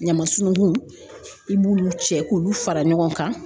Ɲamasunugun i b'olu cɛ k'olu fara ɲɔgɔn kan